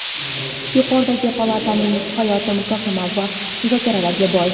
Yuqori palataning hayoti muhokama va muzokaralarga boy.